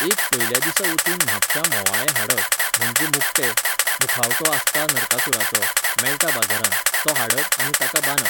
एक पयल्या दिसा वचून म्हापश्यां म्होवाळें हाडप, म्हणजें मुकटें, मुखावटो आसता नारकासुराचो, मेळटा बाजारांत, तो हाडप आनी ताका बांदप.